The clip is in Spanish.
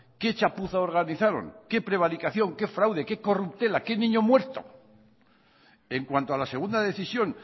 qué chapuza organizaron qué prevaricación qué fraude qué corruptela qué niño muerto en cuanto a la segunda decisión